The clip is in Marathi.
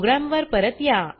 प्रोग्राम वर परत या